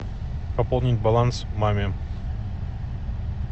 пополнить баланс маме